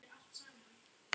Axel Jónsson: Ha?